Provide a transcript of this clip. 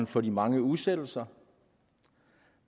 for de mange udsættelser og